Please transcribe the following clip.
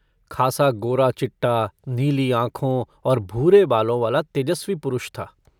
खासा गोरा-चिट्टा नीली आँखों और भूरे बालों-वाला तेजस्वी पुरुष था।